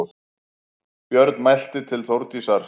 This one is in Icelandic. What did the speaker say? Björn mælti til Þórdísar